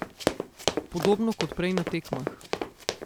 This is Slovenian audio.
Podobno kot prej na tekmah.